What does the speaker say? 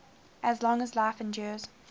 as long as life endures